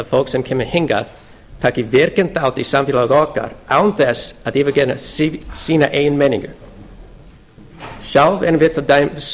fólk sem kemur hingað taki virkan þátt í samfélagi okkar án þess að yfirgefa sína eigin menningu sjálf erum við til dæmis